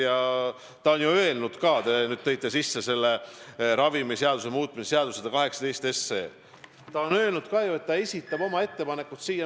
Ja ta on ju öelnud ka – te viitaste ravimiseaduse muutmise seaduse eelnõule 118 –, et ta esitab selle muutmiseks oma ettepanekud.